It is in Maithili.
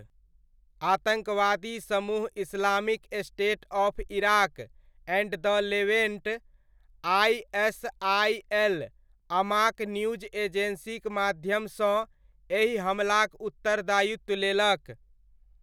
आतङ्कवादी समूह Islamic State of Iraq and the Levant, ISIL, Amaq news एजेन्सीक माध्यमसँ एहि हमलाक उत्तरदायित्व लेलक।